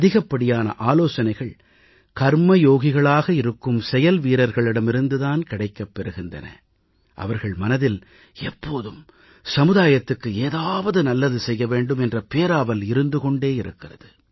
அதிகப்படியான ஆலோசனைகள் கர்மயோகிகளாக இருக்கும் செயல்வீரர்களிடமிருந்து தான் கிடைக்கப் பெறுகிறது அவர்கள் மனதில் எப்போதும் சமுதாயத்துக்கு ஏதாவது நல்லது செய்ய வேண்டும் என்ற பேராவல் இருந்து கொண்டே இருக்கிறது